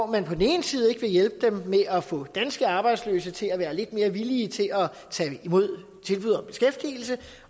vil på den ene side ikke hjælpe dem med at få danske arbejdsløse til at være lidt mere villige til at tage imod tilbud om beskæftigelse